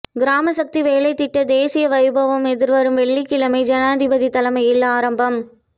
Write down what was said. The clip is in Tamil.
கிராமசக்தி வேலைத்திட்ட தேசிய வைபவம் எதிர்வரும் வெள்ளிக்கிழமை ஜனாதிபதி தலைமையில் ஆரம்பம்